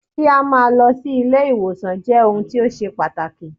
Kí á máa lọ si ilé ìwòsàn jẹ́ ohun tó ṣe pàtàkì.